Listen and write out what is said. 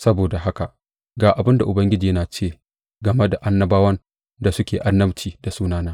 Saboda haka, ga abin da Ubangiji ya ce game da annabawan da suke annabci da sunana.